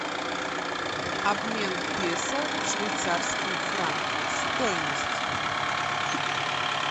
обмен песо в швейцарские франки стоимость